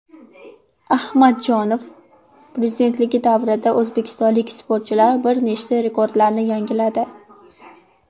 Ahmadjonov prezidentligi davrida o‘zbekistonlik sportchilar bir nechta rekordlarni yangiladi: !